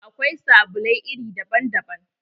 Akwai sabulai iri daban daban